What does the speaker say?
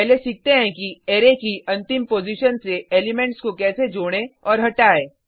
पहले सीखते हैं कि अरै की अंतिम पॉजिशन से एलिमेंट्स को कैसे जोड़ें और हटाएँ